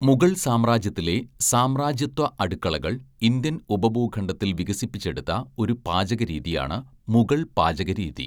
മുഗൾ സാമ്രാജ്യത്തിലെ സാമ്രാജ്യത്വ അടുക്കളകൾ ഇന്ത്യൻ ഉപഭൂഖണ്ഡത്തിൽ വികസിപ്പിച്ചെടുത്ത ഒരു പാചകരീതിയാണ് മുഗൾ പാചകരീതി.